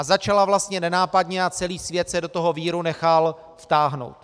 A začala vlastně nenápadně a celý svět se do toho víru nechal vtáhnout.